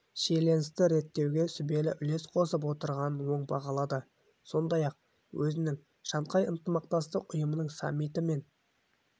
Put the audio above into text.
шиеленісті реттеуге сүбелі үлес қосып отырғанын оң бағалады сондай-ақ өзінің шанхай ынтымақтастық ұйымының саммиті мен